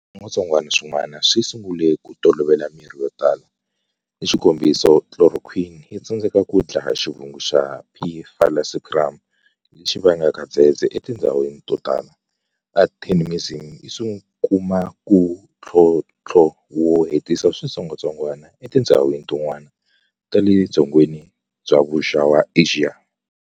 Switsongwatsongwana swin'wana swi sungule ku tolovela mirhi yotala, hixikombiso chloroquine yitsandzeka ku dlaya xivungu xa P. falciparum lexi vangaku dzedzedze etindzhawini to tala, artemisinin yikumana na thlonthlo wo hetisa switsongwatsongwana etindzhawini tin'wana ta ledzongeni bya vuxa wa Axiya.